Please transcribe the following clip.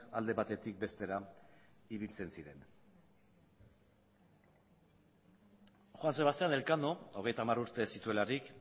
alde batetik bestera ibiltzen ziren juan sebastian elkano hogeita hamar urte zituelarik